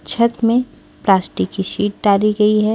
छत में प्लास्टिक की शीट डाली गई है।